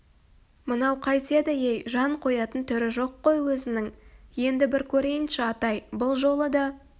мынау қайтеді ей жан қоятын түрі жоқ қой өзінің енді бір көрейінші атай бұл жолы да